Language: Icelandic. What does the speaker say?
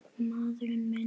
Maður minn.